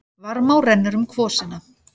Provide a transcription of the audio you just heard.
Varmá rennur um kvosina.